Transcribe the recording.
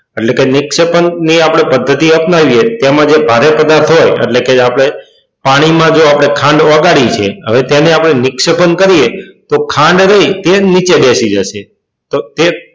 એટલે કે પછી નિક્ષેપણ નહિ આપણે પદ્ધતિ અપનાવીએ એમાં જે ભારે પદાર્થો હોય એટલે કે એટલે કે આપણે પાણીમાં ધારો કે ખાંડ ઓગાળી છે હવે તેને આપણે નક્ષેપણ કરીએ તો જે ખાંડ રહી તે નીચે બેસી જશે. તો તે,